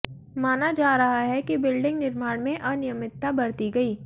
माना जा रहा है कि बिल्डिंग निर्माण में अनियमितता बरती गई